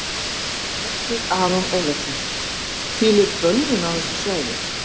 Hersir Aron Ólafsson: Hvílir bölvun á þessu svæði?